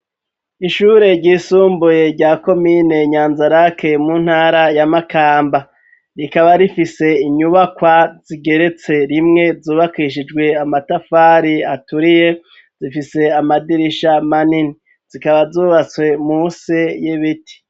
Ishure ry'isumbuye rya komine nyanzarake mu ntara ya makamba rikaba rifise inyubakwa zigeretse rimwe zubakishijwe amatafari aturiye zifise amadirisha manini zikaba zubatswe musi y'ibiti.